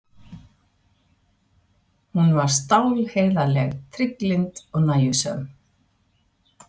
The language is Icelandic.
Hún var stálheiðarleg, trygglynd og nægjusöm.